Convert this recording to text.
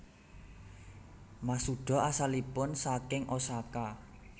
Masuda asalipun saking Osaka